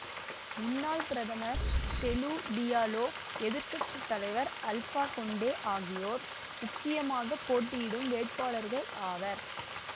முன்னாள் பிரதமர் Cellou Diallo எதிர் கட்சி தலைவர் அல்ஃபா கொண்டே ஆகியோர் உக்கியமாகப் போட்டியிடும் வேட்பாளர்கள் ஆவர்